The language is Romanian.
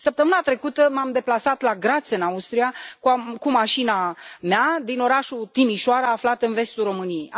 Săptămâna trecută m am deplasat la Graz, în Austria, cu mașina mea, din orașul Timișoara, aflat în vestul României.